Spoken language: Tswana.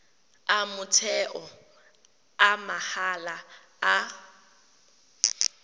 a motheo a mahala a